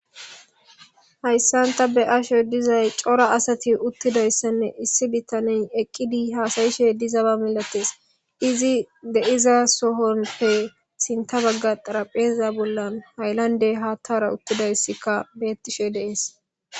hayssanta be asho dizay cora asati uttidayssanne issi bittaney eqqidi haasayishe dizaba milates izi deiza sohonpe sinta bagga xarapheza bollan haylande haattara uttidayssikka beettishe deees